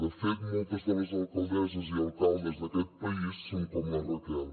de fet moltes de les alcaldesses i alcaldes d’aquest país són com la raquel